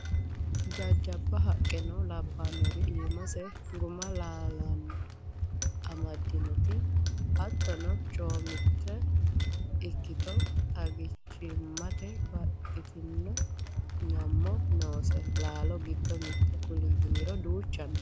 Jajjabba haqqeno labbanori iimase guma laalonitta amadinoti hattono coomile ikkitto xaggichimate baxxitino nyamo noose laalo giddo mite kuli yinniro duucha no.